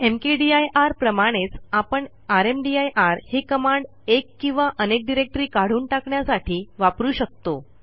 mkdir प्रमाणेच आपणrmdir ही कमांड एक किंवा अनेक डिरेक्टरी काढून टाकण्यासाठी वापरू शकतो